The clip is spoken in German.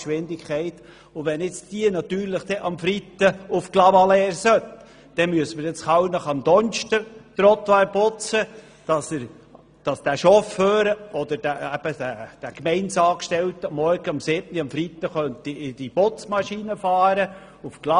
Wenn diese nun am Freitag noch nach Clavaleyres fahren sollte, dann müsste man in Kallnach die Trottoirs bereits am Donnerstag putzen, damit der Gemeindeangestellte, der die Putzmaschine bedient, sie am Freitagmorgen um 7.00 Uhr nach Clavaleyres fahren könnte.